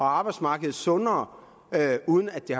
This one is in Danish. arbejdsmarked sundere uden at det